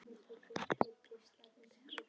Þessar hreyfingar eiga sér stað þegar kyngt er.